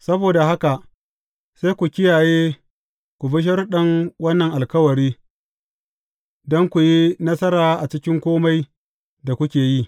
Saboda haka sai ku kiyaye, ku bi sharuɗan wannan alkawari, don ku yi nasara a cikin kome da kuke yi.